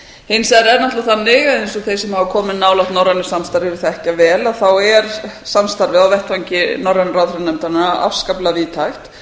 hins vegar er náttúrlega þannig eins og þeir sem hafa komið nálægt norrænu samstarfi þekkja vel er samstarfið á vettvangi norrænu ráðherranefndarinnar afskaplega víðtækt